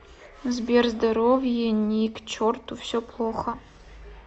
сбер здоровье ни к черту все плохо